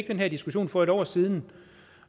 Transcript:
den her diskussion for et år siden